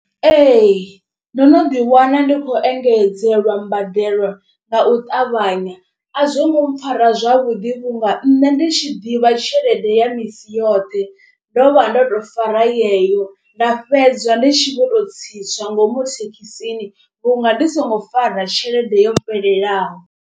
Ee, ndo no ḓi wana ndi khou engedzelwa mbadelo nga u ṱavhanya a zwo ngo mpfhara zwavhuḓi vhunga nṋe ndi tshi ḓivha tshelede ya misi yoṱhe. Ndo vha ndo to fara yeyo nda fhedza ndi tshi vho to tsitswa ngomu thekhisini vhunga ndi songo fara tshelede yo fhelelaho.